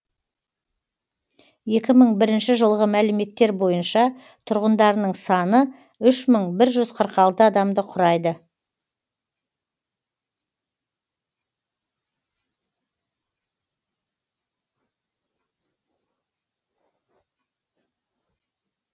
екі мың бірінші жылғы мәліметтер бойынша тұрғындарының саны үш мың бір жүз қырық алты адамды құрайды